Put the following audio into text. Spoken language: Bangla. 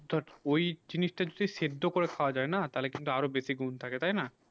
ঐই জিনিস তা তো সেই সেদ্ধ করে খাবা যায় না তালে কিন্তু আরও বেশি গুন থাকে তাই না